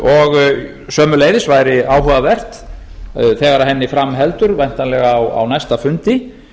og sömuleiðis væri áhugavert þegar henni fram heldur væntanlega á næsta fundi